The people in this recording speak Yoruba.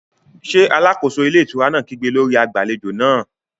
Ṣé alákóso ilé ìtura náà kígbe lórí agbàlejò náà?